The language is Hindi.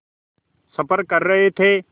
सफ़र कर रहे थे